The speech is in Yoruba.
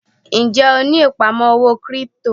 Ń jẹ́ ó ní ìpamọ́ owó kírípítò?